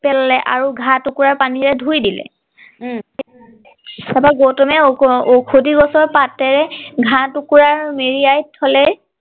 পেলালে আৰু ঘা টুকুৰা পানীৰে ধুই দিলে উম তাৰ পৰা গৌতমে ঔষধি গছৰ পাতেৰে ঘা টুকুৰা মেৰিয়াই থলে